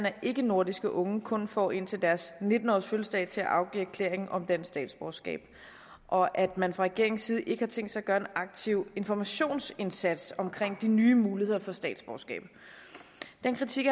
at ikkenordiske unge kun får indtil deres nitten årsfødselsdag til at afgive erklæring om dansk statsborgerskab og at man fra regeringens side ikke har tænkt sig at gøre en aktiv informationsindsats omkring de nye muligheder for at få statsborgerskab den kritik